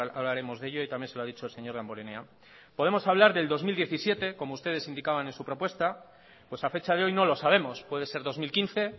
hablaremos de ello y también se lo ha dicho el señor damborenea podemos hablar del dos mil diecisiete como ustedes indicaban en su propuesta pues a fecha de hoy no lo sabemos puede ser dos mil quince